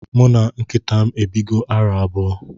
Muna nkitam ebigo arọ abụọ.